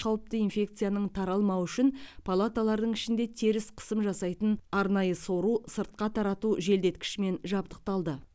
қауіпті инфекцияның таралмауы үшін палаталардың ішінде теріс қысым жасайтын арнайы сору сыртқа тарату желдеткішімен жабдықталды